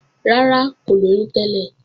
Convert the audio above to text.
Rárá, kò lóyún tẹ́lẹ̀